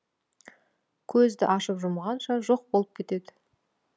көзді ашып жұмғанша жоқ болып кетеді